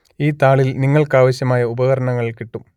ഈ താളിൽ നിങ്ങൾക്ക് ആവശ്യമായ ഉപകരണങ്ങൾ കിട്ടും